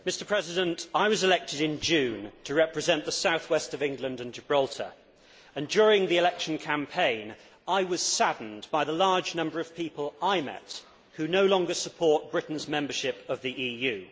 Mr President, I was elected in June to represent the South West of England and Gibraltar and during the election campaign, I was saddened by the large number of people I met who no longer support Britain's membership of the EU.